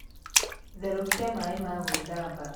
Therūkia maī ma gwīthamba.